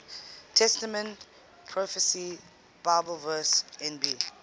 testament prophecy bibleverse nb